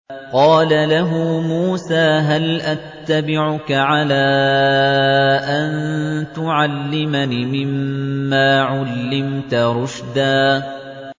قَالَ لَهُ مُوسَىٰ هَلْ أَتَّبِعُكَ عَلَىٰ أَن تُعَلِّمَنِ مِمَّا عُلِّمْتَ رُشْدًا